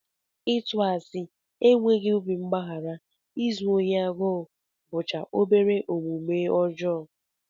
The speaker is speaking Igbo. Ịtụ asị, enweghị obi mgbaghara, izu ohi agụụ bụcha obere omume ọjọọ